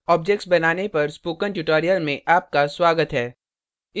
objects बनाने पर spoken tutorial में आपका स्वागत है